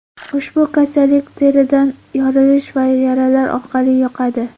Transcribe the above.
Ushbu kasallik teridagi yorilish va yaralar orqali yuqadi.